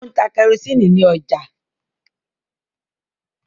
O ń tá kerosiini ní ọjà.